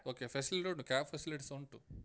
Okay facility ಉಂಟು cab facility ಸ ಉಂಟು.